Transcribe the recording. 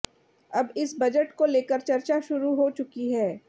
अब इस बजट को लेकर चर्चा शुरू हो चुकी है